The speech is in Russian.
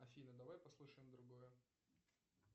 афина давай послушаем другое